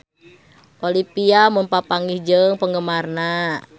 Olivia Munn papanggih jeung penggemarna